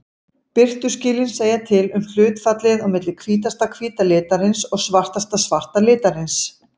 Birtuskilin segja til um hlutfallið á milli hvítasta hvíta litarins og svartasta svarta litarins.